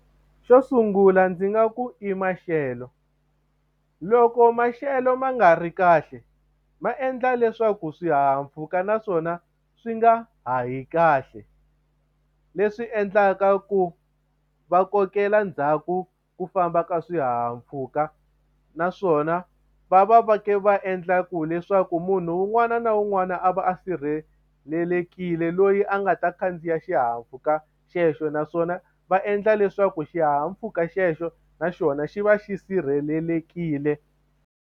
Xo sungula ndzi nga ku i maxelo loko maxelo ma nga ri kahle ma endla leswaku swihahampfhuka naswona swi nga hahi kahle leswi endlaka ku va kokela ndzhaku ku famba ka swihahampfhuka naswona va va va ka va endla ku leswaku munhu un'wana na un'wana a va a sirhelelekile loyi a nga ta khandziya xihahampfhuka xexo naswona va endla leswaku xihahampfhuka xexo naxona xi va xi sirhelelekile.